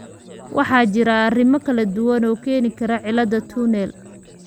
Waxaa jira arrimo kala duwan oo keeni kara cilladda tunnel tunnel.